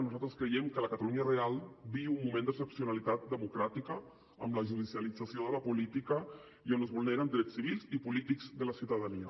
nosaltres creiem que la catalunya real viu un moment d’excepcionalitat democràtica amb la judicialització de la política i on es vulneren drets civils i polítics de la ciutadania